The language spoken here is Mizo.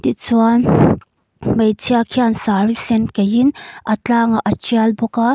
tichuan hmeichhia chuan saree sen kaih in a tlâng a tial bawk a.